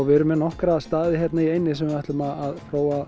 við erum með nokkra staði hérna í eyjunni þar sem við ætlum að